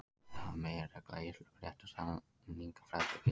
Það er meginregla í íslenskum rétti að samningafrelsi gildir.